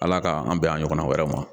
Ala k'an an bɛn a ɲɔgɔnna wɛrɛw ma